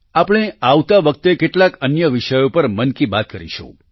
આપણે આવતા વખતે કેટલાક અન્ય વિષયો પર મન કી બાત કરીશું